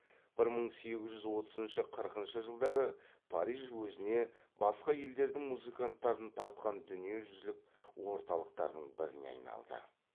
бір мың сегіз жүз отызыншы қырқыншы жылдары париж өзіне басқа елдердің музыканттарын тартқан дүниежүзілік орталықтардың біріне айналды